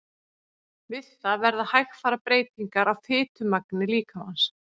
Við það verða hægfara breytingar á fitumagni líkamans.